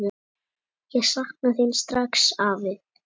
Ég sakna þín strax, afi.